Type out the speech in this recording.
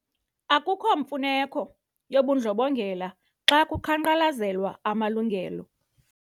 Akukho mfuneko yobundlobongela xa kuqhankqalazelwa amalungelo.